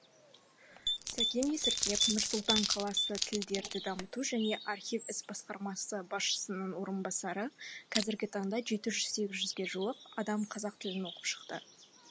сәкен есіркеп нұр сұлтан қаласы тілдерді дамыту және архив ісі басқармасы басшысының орынбасары қазіргі таңда жеті жүз сегіз жүзге жуық адам қазақ тілін оқып шықты